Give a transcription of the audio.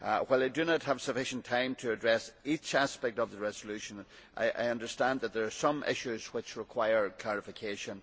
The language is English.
While I do not have sufficient time to address each aspect of the resolution, I understand that there are some issues which require clarification.